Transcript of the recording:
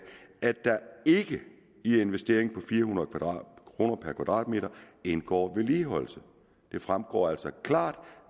at der ikke i investeringen på fire hundrede kroner per kvadratmeter indgår vedligeholdelse det fremgår altså klart